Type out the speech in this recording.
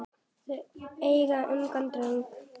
Þau eiga ungan dreng.